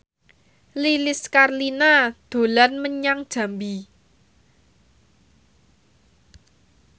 Lilis Karlina dolan menyang Jambi